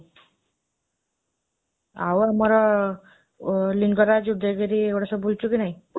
ଆଉ ଆମର, ଲିଙ୍ଗରାଜ, ଉଦୟଗିରି, ଏଗୁଡ଼ା ସବୁ ବୁଲିଛୁ କି ନାହିଁ?